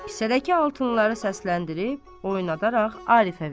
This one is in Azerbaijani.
Kisədəki altınları səsləndirib, oynadaraq Arifə verir.